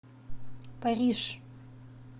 париж